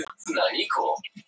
Þúsundir hafa misst allt sitt